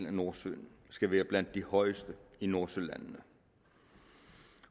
af nordsøen skal være blandt de højeste i nordsølandene